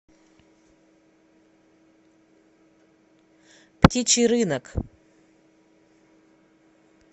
птичий рынок